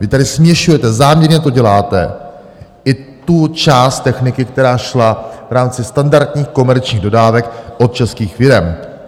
Vy tady směšujete, záměrně to děláte, i tu část techniky, která šla v rámci standardních komerčních dodávek od českých firem.